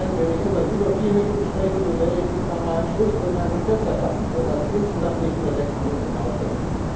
Wenn ich etwas über vier Minuten spreche, werde ich mich bei meinen Schlussbemerkungen kürzer fassen, so dass ich insgesamt nicht über sechs Minuten hinauskomme.